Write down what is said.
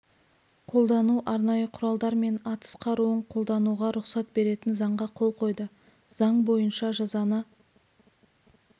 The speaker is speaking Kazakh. қолдану арнайы құралдар мен атыс қаруын қолдануға рұқсат беретін заңға қол қойды заң бойынша жазаны